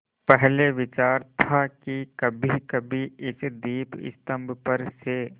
पहले विचार था कि कभीकभी इस दीपस्तंभ पर से